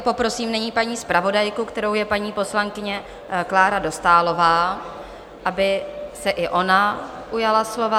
A poprosím nyní paní zpravodajku, kterou je paní poslankyně Klára Dostálová, aby se i ona ujala slova.